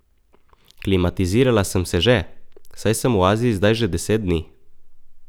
Klimatizirala sem se že, saj sem v Aziji zdaj že deset dni.